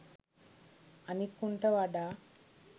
අනික් උන්ට වඩා